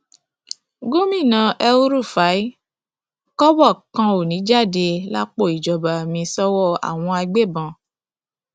gomina elrufai kọbọ kan ò ní í jáde lápò ìjọba mi sọwọ àwọn agbébọn